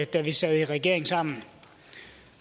da vi sad i regering sammen